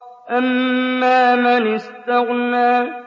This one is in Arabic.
أَمَّا مَنِ اسْتَغْنَىٰ